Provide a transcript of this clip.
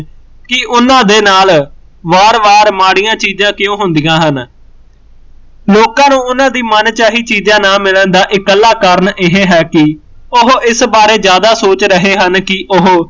ਕਿ ਓਹਨਾ ਦੇ ਨਾਲ ਵਾਰ ਵਾਰ ਮਾੜੀਆਂ ਚੀਜ਼ਾਂ ਕਿਊ ਹੁੰਦੀਆਂ ਹਨ ਲੋਕਾਂ ਨੂੰ ਓਹਨਾ ਦੀ ਮਨਚਾਹੀ ਚੀਜ਼ਾਂ ਨਾ ਮਿਲਣ ਦਾ ਇੱਕਲਾ ਕਾਰਨ ਇਹ ਹੈ ਕਿ ਉਹ ਇਸ ਬਾਰੇ ਜ਼ਿਆਦਾ ਸੋਚ ਰਹੇ ਹਨ ਕਿ ਉਹ